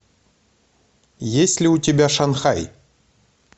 есть ли у тебя шанхай